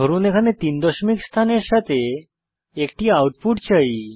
ধরুন এখানে তিন দশমিক স্থানের সাথে একটি আউটপুট চাই